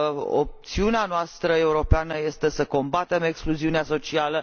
și opțiunea noastră europeană este să combatem excluziunea socială.